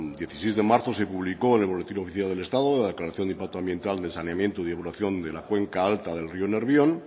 dieciséis de marzo se publicó en el boletín oficial del estado la declaración del impacto ambiental de saneamiento y depuración de la cuenca alta del rio nervión